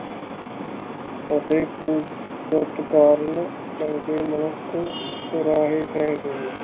ਅਤੇ ਉਸ ਕਾਰਨ ਚੰਗੇ ਮਨੁੱਖ ਕੁਰਾਹੇ ਪਾਏ ਹੋਏ ਆ